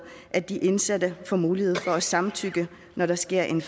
at de indsatte får mulighed for at samtykke når der sker en